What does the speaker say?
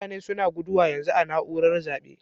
Mutane suna guduwa yanzun a'naúrar zabe.